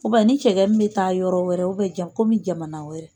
ni cɛgɛ min bɛ taa yɔrɔ wɛrɛ jamana wɛrɛ